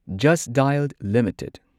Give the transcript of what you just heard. just ꯗꯥꯢꯜ limited